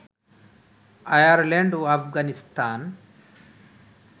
Ireland ও আফগানিস্তান